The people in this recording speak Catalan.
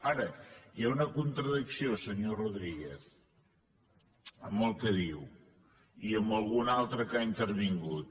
ara hi ha una contradicció senyor rodríguez en el que diu i en algun altre que ha intervingut